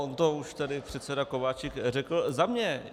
On to už tady předseda Kováčik řekl za mě.